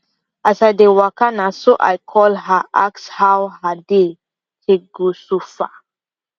as i dey waka naso i call her ask how her day take go so far